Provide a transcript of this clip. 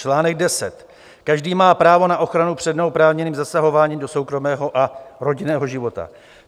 Článek 10 - každý má právo na ochranu před neoprávněným zasahováním do soukromého a rodinného života.